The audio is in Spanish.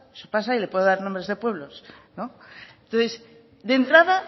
eso pasa y le puedo dar nombres de pueblos entonces de entrada